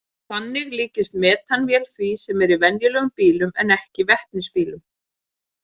Þannig líkist metanvél því sem er í venjulegum bílum en ekki vetnisbílum.